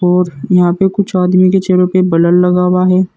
और यहां पे कुछ आदमी के चेहरों पे बलर लगा हुआ है।